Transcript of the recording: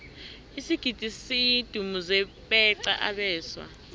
isigidi sidumuze beqa abeswa